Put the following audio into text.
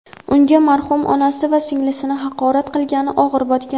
unga marhum onasi va singlisini haqorat qilgani og‘ir botgan.